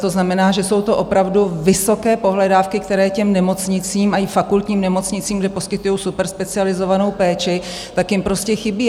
To znamená, že jsou to opravdu vysoké pohledávky, které těm nemocnicím, i fakultním nemocnicím, kde poskytují superspecializovanou péči, tak jim prostě chybí.